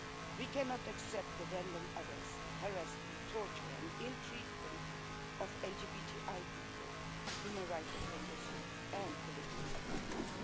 We cannot accept the random arrest, harassment, torture and ill treatment of LGBTI people, human rights defenders and political prisoners.